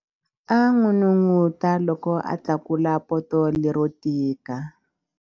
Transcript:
A n'unun'uta loko a tlakula poto lero tika.